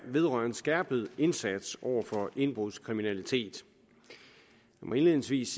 vedrører en skærpet indsats over for indbrudskriminalitet indledningsvis